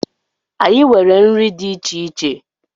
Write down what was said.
Anyị nwere nri dị iche iche.